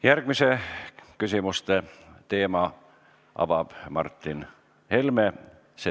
Järgmise teema avab Martin Helme.